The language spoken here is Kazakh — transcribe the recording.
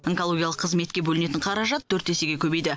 онкологиялық қызметке бөлінетін қаражат төрт есеге көбейді